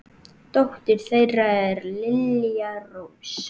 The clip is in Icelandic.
Dóttir þeirra er Lilja Rós.